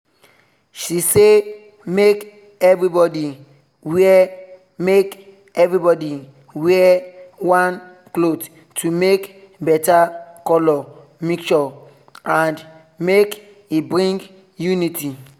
she say make everybody wear make everybody wear one cloth to make better color mixture and make e bring unity